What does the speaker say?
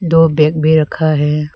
दो बैग भी रखा है।